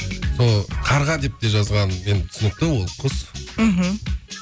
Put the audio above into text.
сол қарға деп те жазғаным енді түсінікті ол құс мхм